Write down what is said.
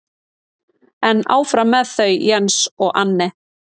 En áfram með þau Jens og Anne.